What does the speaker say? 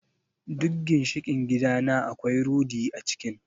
Duk ginshiƙin gidana akwai rudi a cikin.